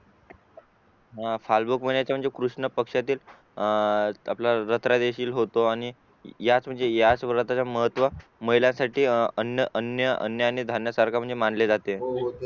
अं फाल्गुन महिन्याच्या म्हणजे कृष्ण पक्षातील आह आपल्याला होतो आणि याच महत्व महिलांसाठी अन्य अन्य आणि धान्यां सारखा मानले जाते